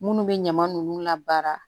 Minnu bɛ ɲama nunnu labara